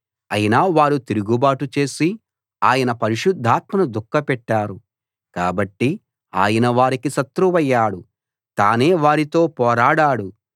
అయినా వారు తిరుగుబాటు చేసి ఆయన పరిశుద్ధాత్మను దుఃఖపెట్టారు కాబట్టి ఆయన వారికి శత్రువయ్యాడు తానే వారితో పోరాడాడు